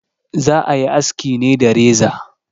Za a yi aski ne da reza.